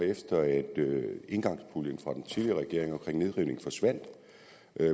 efter at engangspuljen fra den tidligere regering til nedrivning forsvandt